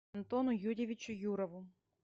антону юрьевичу юрову